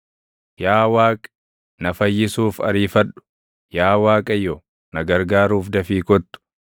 Yaa Waaqi, na fayyisuuf ariifadhu; yaa Waaqayyo, na gargaaruuf dafii kottu.